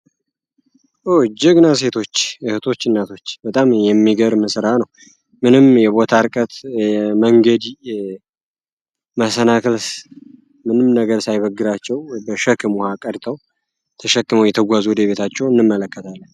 ኦ ጀግና ሴቶች ፣እህቶች ፣እናቶች በጣም የሚገርም ስራ ነው። ምንም የቦታ እርቀት ፣መንገድ መሰናክል ምንም ነገር ሳይበግራቸው በሸክም ዉሃ ቀድተው ተሸክመው እየተጓዙ ወደቤታቸው እንመለከታለን ።